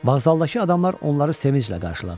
Vağzaldakı adamlar onları sevinclə qarşıladılar.